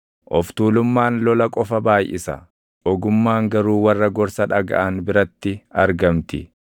Of tuulummaan lola qofa baayʼisa; ogummaan garuu warra gorsa dhagaʼan biratti argamti.